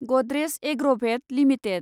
Godrej Agrovet limited